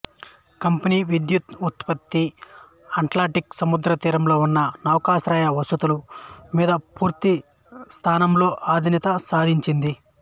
company విద్యుత్తు ఉత్పత్తి Atlantic సముద్రతీరంలో ఉన్న నౌకాశ్రయ వసతుల మీద పూర్తి స్థాయిలో ఆధీనత సాధించింది